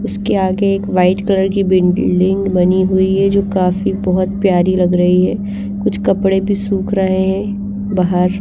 उसके आगे एक वाइट कलर की बिल्डिंग बनी हुई हैं जो काफी बहुत प्यारी लग रही हैं कुछ कपड़े भी सूख रहे हैं बहार--